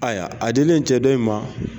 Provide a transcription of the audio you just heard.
Ayiwa a dilen cɛ dɔ in ma.